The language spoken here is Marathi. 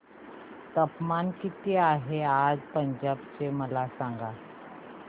तापमान किती आहे आज पंजाब चे मला सांगा